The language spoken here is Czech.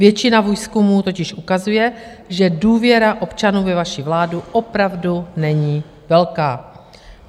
Většina výzkumů totiž ukazuje, že důvěra občanů ve vaši vládu opravdu není velká.